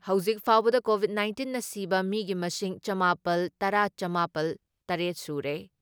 ꯍꯧꯖꯤꯛ ꯐꯥꯎꯕꯗ ꯀꯣꯚꯤꯠ ꯅꯥꯏꯟꯇꯤꯟꯅ ꯁꯤꯕ ꯃꯤꯒꯤ ꯃꯁꯤꯡ ꯆꯃꯥꯄꯜ ꯇꯔꯥ ꯆꯃꯥꯄꯜ ꯇꯔꯦꯠ ꯁꯨꯔꯦ ꯫